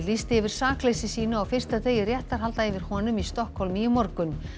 lýsti yfir sakleysi sínu á fyrsta degi réttarhalda yfir honum í Stokkhólmi í morgun